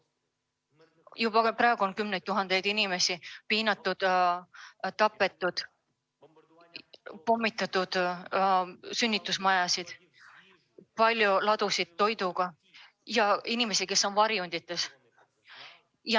Juba praegu on kümneid tuhandeid inimesi piinatud ja tapetud, pommitatud on sünnitusmajasid, toiduladusid ja inimesi, kes on varjendites.